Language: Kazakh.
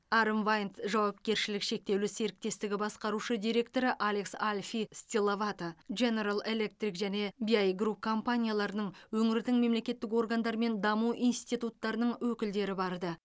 арм вайнд жауапкершілігі шектеулі серіктестігі басқарушы директоры алекс альфи стиллавато женерал электрик және биай групп компанияларының өңірдің мемлекеттік органдары мен даму институттарының өкілдері барды